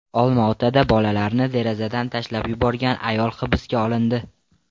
Olmaotada bolalarini derazadan tashlab yuborgan ayol hibsga olindi.